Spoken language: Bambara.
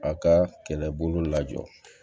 A ka kɛlɛbolo la jɔ